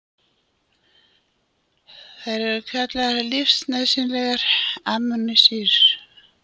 Þær eru kallaðar lífsnauðsynlegar amínósýrur.